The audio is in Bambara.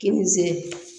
Kini